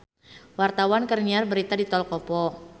Wartawan keur nyiar berita di Tol Kopo